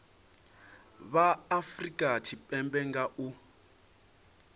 vha afurika tshipembe nga u